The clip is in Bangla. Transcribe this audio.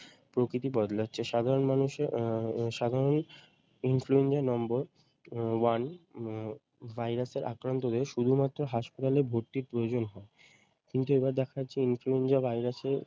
প্রকৃতি বদলাচ্ছে সাধারণ মানুষে আহ সাধারণই influenza নম্বর one আহ ভাইরাস এর আক্রাত্ত হয়ে শুধু মাত্র হাসপাতালে ভর্তির প্রয়োজন হয়। কিন্তু এবার দেখা যাচ্ছে influenza ভাইরাস এর